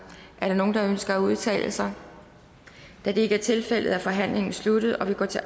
nogen der ønsker at udtale sig da det ikke er tilfældet er forhandlingen sluttet og vi går til